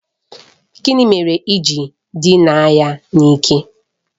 Gịnị mere i ji dịna ya n'ike?